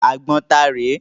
Àgbọn ta rè é?